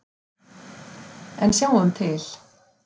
En sjáum til.